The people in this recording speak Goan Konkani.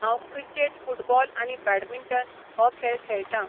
हांव क्रिकेट फुटबॉल आनी बॅडमिंटन हो खेळ खेळटां.